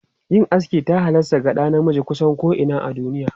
Yin aski ta halasta ga ɗa namiji kusan ko'ina a duniya.